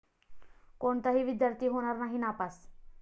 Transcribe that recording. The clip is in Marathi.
कोणताही विद्यार्थी होणार नाही नापास